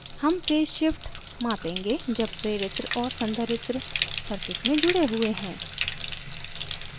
हम phase shift मापेंगे जब प्रेरित्र और संधारित्र circuit में जुड़े हुए हैं